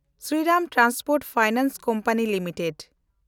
Sriram transport finance company limited